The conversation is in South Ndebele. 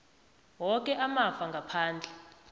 woke amafa ngaphandle